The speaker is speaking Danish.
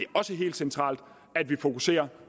også helt centralt at vi fokuserer